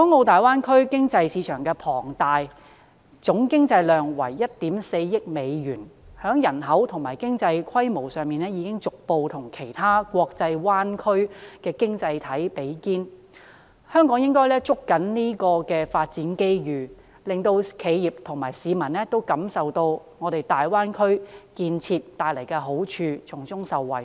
大灣區經濟市場規模龐大，總經濟量為 14,000 億美元，在人口和經濟規模上已逐步與其他國際灣區經濟體比肩，香港應該捉緊發展機遇，令企業和市民都感受到大灣區建設帶來的好處，從中受惠。